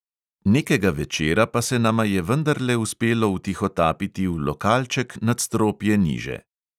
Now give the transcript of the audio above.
Nekega večera pa se nama je vendarle uspelo vtihotapiti v lokalček nadstropje niže.